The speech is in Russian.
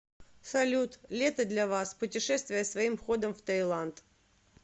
салют лето для вас путешествия своим ходом в таиланд